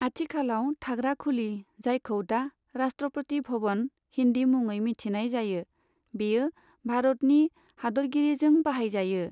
आथिखालाव थाग्रा खुलि, जायखौ दा 'राष्ट्रपति भवन' हिन्दि मुङै मिथिनाय जायो, बेयो भारतनि हादोरगिरिजों बाहायजायो।